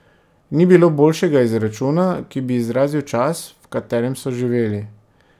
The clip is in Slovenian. Ni bilo boljšega izračuna, ki bi izrazil čas, v katerem so živeli.